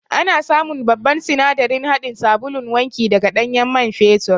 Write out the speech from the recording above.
Ana samun babban sinadarin haɗin sabulun wanki daga ɗanyen man fetur